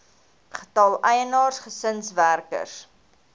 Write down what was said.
getal eienaars gesinswerkers